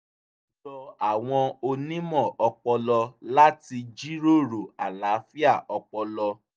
ó jọ àwọn onímọ̀ ọpọlọ láti jíròrò àlàáfíà ọpọlọ